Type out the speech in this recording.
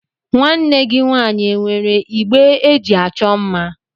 Nwanne gị nwaanyị e nwere igbe eji achọ mma?